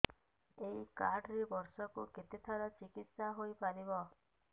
ଏଇ କାର୍ଡ ରେ ବର୍ଷକୁ କେତେ ଥର ଚିକିତ୍ସା ହେଇପାରିବ